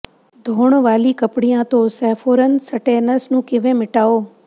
ਧੋਣ ਵਾਲੀ ਕੱਪੜਿਆਂ ਤੋਂ ਸੇਫੋਰਨ ਸਟੈਨਸ ਨੂੰ ਕਿਵੇਂ ਮਿਟਾਓ